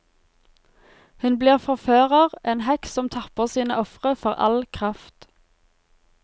Hun blir forfører, en heks som tapper sine ofre for all kraft.